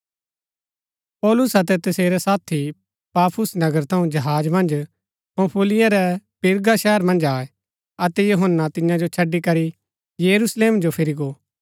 पौलुस अतै तसेरै साथी पाफुस नगर थऊँ जहाज मन्ज पंफूलिया रै पिरगा शहर मन्ज आये अतै यूहन्‍ना तियां जो छड़ी करी यरूशलेम जो फिरी गो